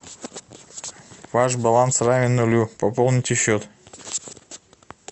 ваш баланс равен нулю пополните счет